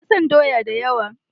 Ina son doya da yawa.